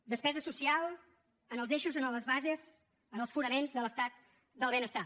despesa social en els eixos en les bases en els fonaments de l’estat del benestar